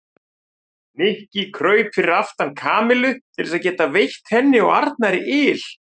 Nikki kraup fyrir aftan Kamillu til þess að geta veitt henni og Arnari yl.